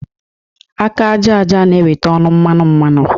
Aka àjàja na-eweta ọnụ mmanụ mmanụ